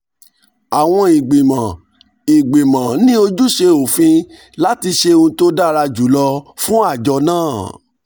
àwọn ìgbìmọ̀ ìgbìmọ̀ ní ojúṣe òfin láti ṣe ohun tó dára jù lọ fún àjọ náà